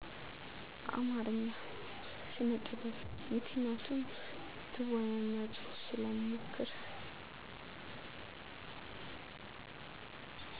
አማረኛ ስነጥበብ ምክንያቱም ትወና እና ጽሁፍ ስለምሞክር